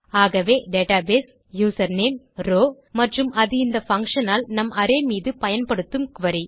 ஆகவே database username row மற்றும் அது இந்த பங்ஷன் ஆல் நம் அரே மீது பயன்படுத்தும் குரி